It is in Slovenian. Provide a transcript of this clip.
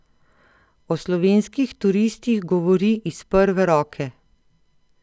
O slovenskih turistih govori iz prve roke.